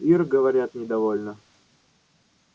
ир говорят недовольна